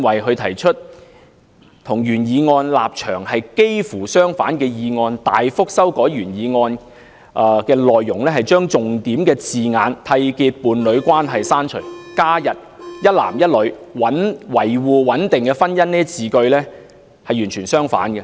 她提出幾乎與原議案的立場相反的修正案，大幅修改原議案的內容，刪除重點字眼"締結伴侶關係"，加入"一男一女"、"維護穩定的婚姻"等字句，是完全相反的。